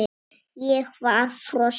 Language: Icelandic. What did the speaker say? Ég var frosin.